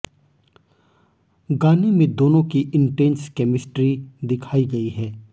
गाने में दोनों की इंटेंस केमिस्ट्री दिखाई गयी है